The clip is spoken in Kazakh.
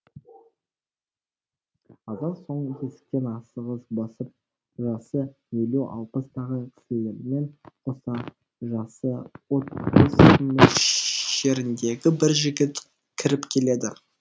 аздан соң есіктен асығыс басып жасы елу алпыстағы кісілермен қоса жасы отыз мөлшеріндегі бір жігіт кіріп келеді